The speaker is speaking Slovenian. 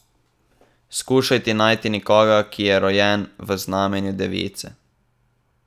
Skušajte najti nekoga, ki je rojen v znamenju device.